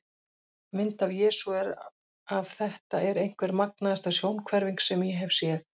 Mynd af Jesú er af Þetta er einhver magnaðasta sjónhverfing sem ég hef séð.